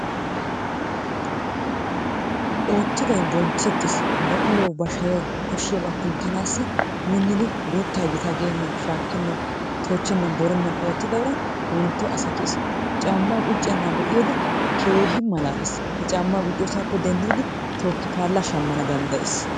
Oottiday bonchchettes ba uluwawu ba shayawu koshshiyabaa kunttanaassi minnidi guuttaa gitaa geennan shaakkennan toochchennan borennan oottida uray wontto asa kiyes. Caammaa qucciya na'aa be'iyode keehi malaales. He caammaa qucciyosaappe denddidi tookki paalla shammana danddayes.